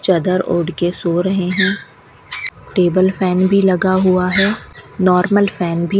चादर ओढ़ के सो रहे हैं टेबल फैन भी लगा हुआ है नॉर्मल फैन भी --